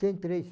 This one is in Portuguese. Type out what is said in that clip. Tenho três.